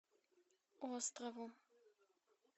острову